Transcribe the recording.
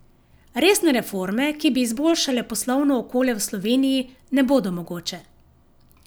Resne reforme, ki bi izboljšale poslovno okolje v Sloveniji, ne bodo mogoče.